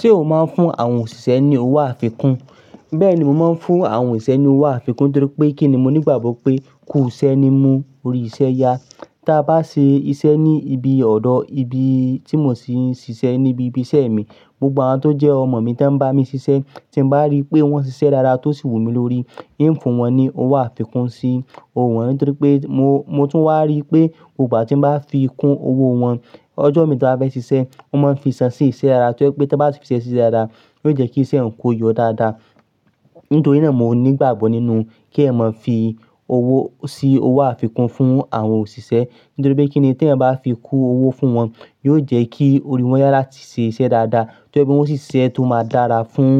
Ṣé o máa ń fún àwọn òṣìṣẹ́ ní owó àfikún? Bẹ́ẹ̀ni, mo máa ń fún àwọn òṣìṣẹ́ ní owó àfikún torí pé kíni mo nígbàgbọ́ pé, kú iṣẹ́ ni mú orí isẹ́ yá. Ta bá ṣe iṣẹ́ ní ibi ọ̀dọ̀, ibi tí mo ti ń ṣiṣẹ́ níbi ibi isẹ́ mi, gbogbo àwa tó jẹ́ ọmọ mi tí ń bá mi ṣiṣẹ́, tí mo bá rí pé wọ́n ṣiṣẹ́ dáadáa tó sì wù mí lórí, hìn funwọ́n ni owó àfikún sí owó wọn ntorí pé mo, mo tún wá rí pé ìgbà tí mo bá fi kún owó wọn, ọjọ́ mi tí a fẹ́ ṣiṣẹ́, wón mo ń fi ìṣàn sí iṣẹ́ ara. Tí ọ̀ pé tí bá fi ṣiṣẹ́ sí i dáadáa, yóò jẹ́ kí iṣẹ́ ẹ kó yọ dáadáa. Nítorí náà mo nígbàgbọ́ nínú k'èẹ̀yàn moń fi owó sí owó àfikún fún àwọn òṣìṣẹ́. Nítorí pé kíni tí ẹ̀ bá fi kun owó fún wọn, yóò jẹ́ kí ori wọn yáa láti ṣe iṣẹ́ dáadáa. Tọ̀ jepe wọ́n ó ṣi siṣẹ́ tó máa dára fún